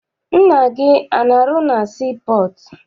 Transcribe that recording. Nna gị ana arụ na sii pọọtụ?